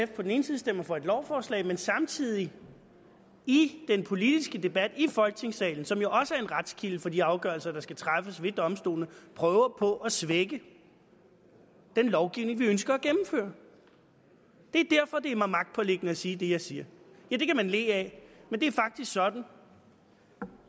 på den ene side stemmer for et lovforslag men samtidig i den politiske debat i folketingssalen som jo også er en retskilde for de afgørelser der skal træffes ved domstolene prøver på at svække den lovgivning vi ønsker at gennemføre det er derfor det er mig magtpåliggende at sige det jeg siger det kan man le af men det er sådan